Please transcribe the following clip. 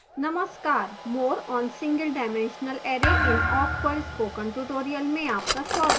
नमस्कार more on single dimensional array in awk पर spoken tutorial में आपका स्वागत है